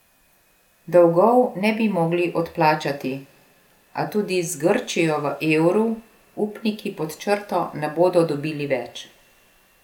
Dolgov ne bi mogli odplačati, a tudi z Grčijo v evru upniki pod črto ne bodo dobili več.